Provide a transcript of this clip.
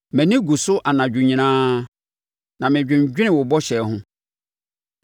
Mʼani gu so anadwo nyinaa, na mɛdwendwene wo bɔhyɛ ho.